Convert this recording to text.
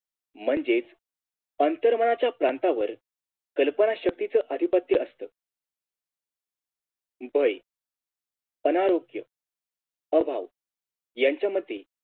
म्हणजेच आंतरमनाच्या प्रांतावर कल्पना शक्तीच आधिपत्य असत भय अनारोग्य अभाव यांच्यामध्ये